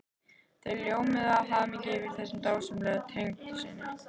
Þau ljómuðu af hamingju yfir þessum dásamlega tengdasyni.